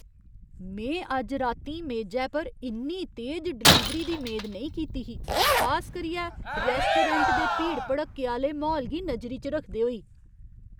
में अज्ज रातीं मेजै पर इन्नी तेज डलीवरी दी मेद नेईं कीती ही, खास करियै रैस्टोरैंट दे भीड़ भड़क्के आह्‌ले म्हौल गी नजरी च रखदे होई।